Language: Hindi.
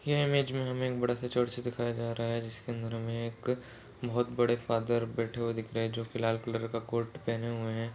यह इमेज में हमे एक बड़ा सा चर्च दिखाई दे रहा है जिसके अंदर हमे एक बहुत बड़े फादर बैठे हुए दिख रहे जो के लाल कलर का कोट पहने हुए है।